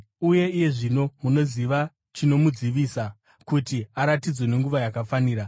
Uye iye zvino munoziva chinomudzivisa, kuti aratidzwe nenguva yakafanira.